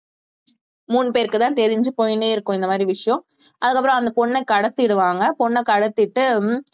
மூணு பேருக்குதான் தெரிஞ்சு போயின்னே இருக்கும் இந்த மாதிரி விஷயம் அதுக்கப்புறம் அந்த பொண்ணை கடத்திடுவாங்க பொண்ணை கடத்திட்டு